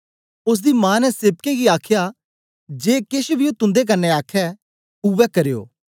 ओसदी मां ने सेवकें गी आखया जे केछ बी ओ तुन्दे आखे उवै करयो